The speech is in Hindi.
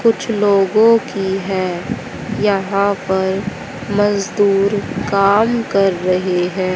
कुछ लोगों की हैं यहां पर मजदूर काम कर रहे हैं।